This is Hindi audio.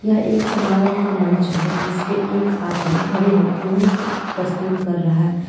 यह एक समारोह का मंच है जिसपे एक आदमी खड़े होके नृत्य प्रस्तुत कर रहा है।